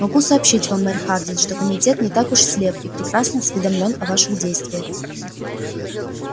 могу сообщить вам мэр хардин что комитет не так уж слеп и прекрасно осведомлён о ваших действие